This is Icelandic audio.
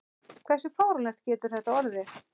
Hversu fáránlegt getur þetta orðið?